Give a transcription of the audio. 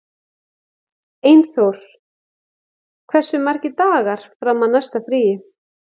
Einþór, hversu margir dagar fram að næsta fríi?